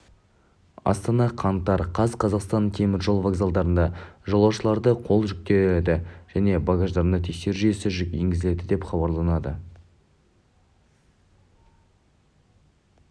астана қаңтар қаз қазақстанның теміржол вокзалдарында жолаушыларды қол жүктерді және багаждарды тексеру жүйесі енгізіледі деп хабарлады қазақстан темір жолы баспасөз қызметінен